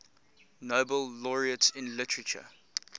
nobel laureates in literature